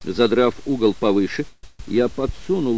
задрав угол повыше я подсунул